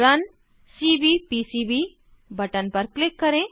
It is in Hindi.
रुन सीवीपीसीबी बटन पर क्लिक करें